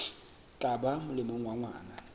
tla ba molemong wa ngwana